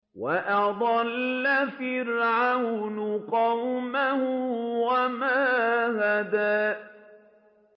وَأَضَلَّ فِرْعَوْنُ قَوْمَهُ وَمَا هَدَىٰ